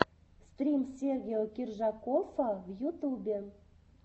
стрим сергео киржакоффа в ютубе